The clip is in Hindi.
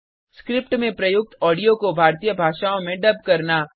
स्क्रिप्ट में प्रयुक्त ऑडियो को भारतीय भाषाओं में डब करना